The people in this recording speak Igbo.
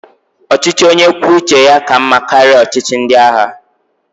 Ọchịchị onye kwuo uche ya ka mmá karịa ọchịchị ndị agha.